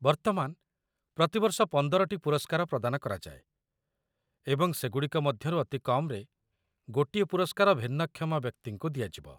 ବର୍ତ୍ତମାନ, ପ୍ରତିବର୍ଷ ୧୫ଟି ପୁରସ୍କାର ପ୍ରଦାନ କରାଯାଏ, ଏବଂ ସେ ଗୁଡ଼ିକ ମଧ୍ୟରୁ ଅତି କମ୍‌ରେ ଗୋଟିଏ ପୁରସ୍କାର ଭିନ୍ନକ୍ଷମ ବ୍ୟକ୍ତିଙ୍କୁ ଦିଆଯିବ।